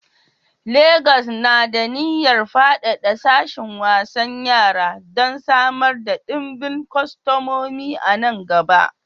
Legas na da niyyar faɗaɗa sashin wasan yara don samar da ɗimbin kwastomomi a nan gaba.